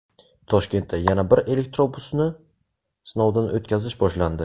Toshkentda yana bir elektrobusni sinovdan o‘tkazish boshlandi.